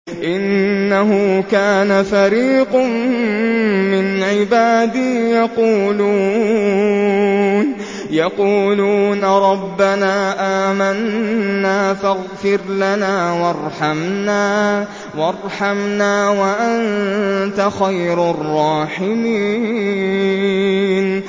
إِنَّهُ كَانَ فَرِيقٌ مِّنْ عِبَادِي يَقُولُونَ رَبَّنَا آمَنَّا فَاغْفِرْ لَنَا وَارْحَمْنَا وَأَنتَ خَيْرُ الرَّاحِمِينَ